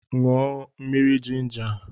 Ṅụọ mmiri jinja a!